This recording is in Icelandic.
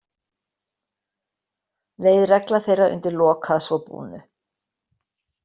Leið regla þeirra undir lok að svo búnu.